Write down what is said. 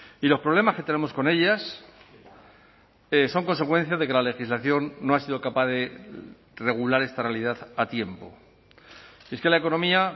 y los problemas que tenemos con ellas son consecuencia de que la legislación no ha sido capaz de regular esta realidad a tiempo es que la economía